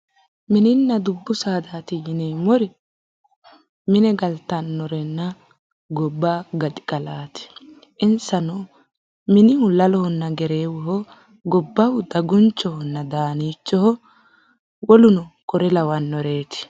Mininna dubbu saadaati yineemmori mine galtannorenna gobba gaxigalaati. Insano minihu lalonna gereewoho. Gobbahu dagunchohonna daaniichoho. Woluno kore lawannoreeti.